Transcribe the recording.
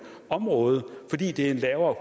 område fordi det er en lavere